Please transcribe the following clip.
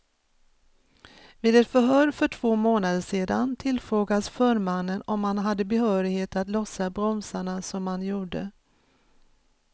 Vid ett förhör för två månader sedan tillfrågas förmannen om han hade behörighet att lossa bromsarna som han gjorde.